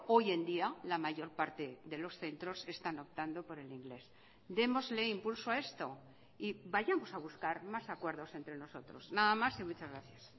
hoy en día la mayor parte de los centros están optando por el inglés démosle impulso a esto y vayamos a buscar más acuerdos entre nosotros nada más y muchas gracias